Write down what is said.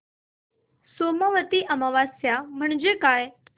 सोमवती अमावस्या म्हणजे काय